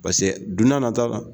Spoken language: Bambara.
don n'a nata la